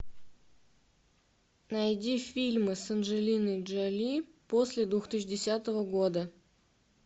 найди фильмы с анджелиной джоли после две тысячи десятого года